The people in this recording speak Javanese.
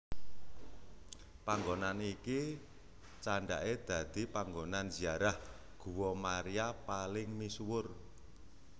Panggonan iki candhake dadi panggonan ziarah guwa Maria paling misuwur